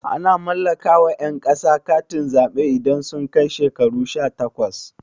Ana mallaka wa ƴan ƙasa katin zaɓe idan sun kai shekaru shatakwas